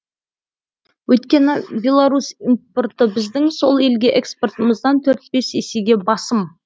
өйткені беларусь импорты біздің сол елге экспортымыздан есеге басым